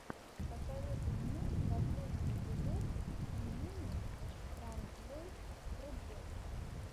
посоветуй мне последний эпизод йимины транзлэйт проджекта